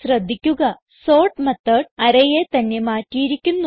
ശ്രദ്ധിക്കുകsort method arrayയെ തന്നെ മാറ്റിയിരിക്കുന്നു